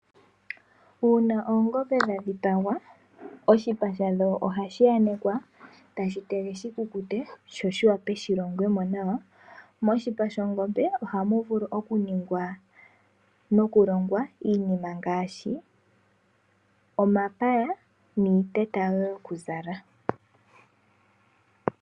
Uuna oongombe dha dhipagwa oshipa shadho ohashi yanekwa, tashi tegwa shikukute, sho shiwape shilongwe mo nawa. Moshipa shongombe ohamu vulu okuningwa nokulongwa iinima ngaashi omapaya niiteta yokuzala.